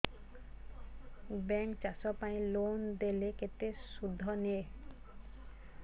bank ଚାଷ ପାଇଁ loan ଦେଲେ କେତେ ସୁଧ ନିଏ